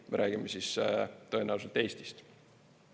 Me räägime siis tõenäoliselt Eestist.